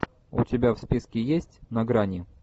у тебя в списке есть на грани